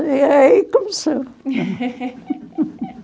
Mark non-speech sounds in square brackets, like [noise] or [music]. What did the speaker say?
E aí começou. [laughs]